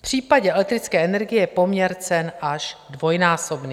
V případě elektrické energie je poměr cen až dvojnásobný.